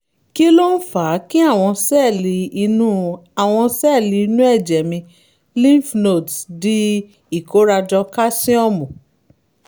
kí ló ń fa kí àwọn sẹ́ẹ̀lì inú àwọn sẹ́ẹ̀lì inú ẹ̀jẹ̀ mi lymph nodes di ìkórajọ káṣíọ́mù?